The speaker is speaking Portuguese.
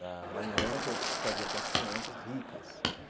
Lá lá em Mônaco, eu fazia com as crianças ricas.